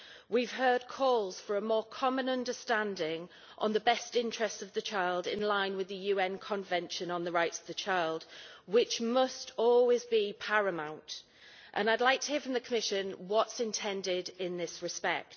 We have heard calls for a more common understanding on the best interests of the child in line with the UN Convention on the rights of the child, which must always be paramount, and I would like to hear from the Commission what is intended in this respect.